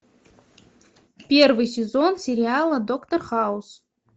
первый сезон сериала доктор хаус